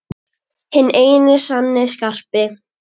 Hinn eini sanni Skarpi!